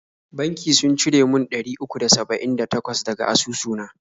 Banki sun cire mun ɗari uku da saba'in da takwas daga asusu na.